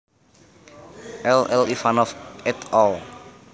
L L Ivanov et al